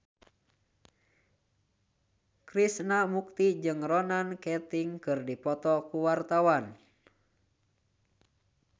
Krishna Mukti jeung Ronan Keating keur dipoto ku wartawan